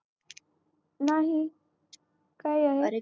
नाही काय आहे